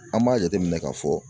An b'a jateminɛ k'a fɔ